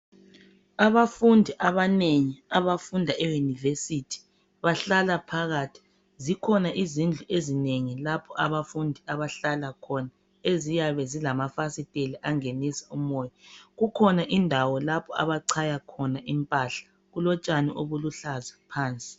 Abafundi abanengi abafunda eUniversity bahlala phakathi zikhona izindlu ezinengi lapho abafundi abahlala khona eziyabe zilamafasiteli angenisa umoya kukhona indawo lapho abachaya khona impahla kulotshani obuluhlaza phansi.